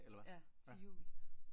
Ja til jul